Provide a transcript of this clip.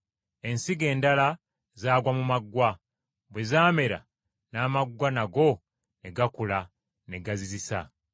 Ensigo endala zaagwa mu maggwa, bwe zaamera n’amaggwa nago ne gakula ne gazizisa.